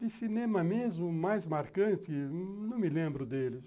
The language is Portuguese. De cinema mesmo, o mais marcante, não me lembro deles.